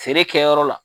Feere kɛyɔrɔ la